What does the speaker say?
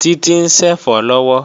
Títí ń ṣẹ̀fọ́ lọ́wọ́